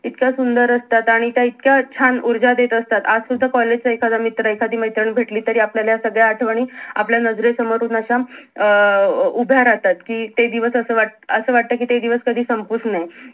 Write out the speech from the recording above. इतक्या सुंदर असतात आणि त्या इतक्या छान ऊर्जा देत असतात कि आज सुद्धा कॉलेज चा एखादा मित्र किंवा मैत्रीण भेटली तरीही आपल्याला ह्या सगळ्या आठवणी आपल्या नजरे समोर येऊन अं अश्या उभ्या राहतात कि ते दिवस असं वाटत कि असं वाटत कि ते दिवस कधी संपूच नये